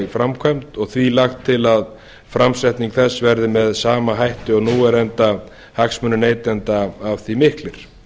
í framkvæmd og því lagt til að framsetning þess verði með sama hætti og nú er enda hagsmunir neytenda af því miklir